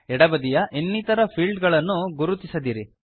ಎಡ ಬದಿಯ ಇನ್ನಿತರ ಫೀಲ್ಡ್ ಗಳನ್ನು ಗುರುತಿಸದಿರಿ